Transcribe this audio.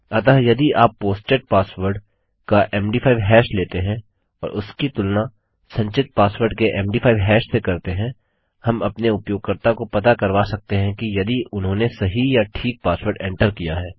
अतः यदि आप पोस्टेड पासवर्ड का मद5 हैश लेते हैं और उसकी तुलना संचित पासवर्ड के मद5 हैश से करते हैं हम अपने उपयोगकर्ता को पता करवा सकते हैं यदि उन्होंने सही या ठीक पासवर्ड एंटर किया है